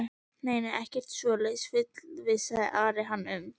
Nei, nei, ekkert svoleiðis fullvissaði Ari hann um.